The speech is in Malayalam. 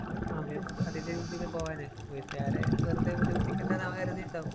അതേ.പോവനെ. വീട്ടുകാരെ വെറുതെ ബുദ്ധിമുട്ടിക്കണ്ട എന്നവന്‍ കരുതിയിട്ടുണ്ടാകും.